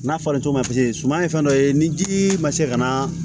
N'a falencogo paseke suman ye fɛn dɔ ye ni ji ma se ka na